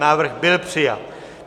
Návrh byl přijat.